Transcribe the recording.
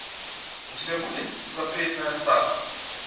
у тебя будет запретное царство